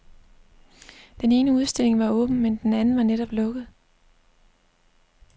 Den ene udstilling var åben, men den anden var netop lukket.